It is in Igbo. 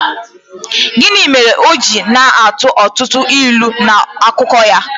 Gịnị mere o ji na-atụ ọtụtụ ilu n’akụkọ ya?